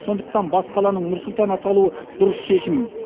сондықтан бас қаланың нұр сұлтан аталуы дұрыс шешім